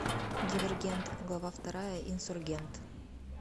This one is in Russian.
дивергент глава вторая инсургент